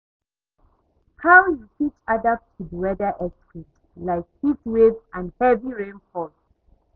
how you fit adapt to di weather extremes, like heatwaves and heavy rainfall?